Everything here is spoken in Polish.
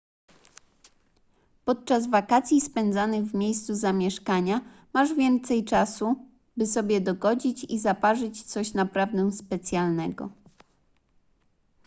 podczas wakacji spędzanych w miejscu zamieszkania masz więcej czasu by sobie dogodzić i zaparzyć coś naprawdę specjalnego